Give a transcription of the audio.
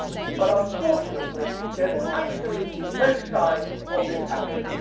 But unfortunately, there is absolutely no sign of this happening.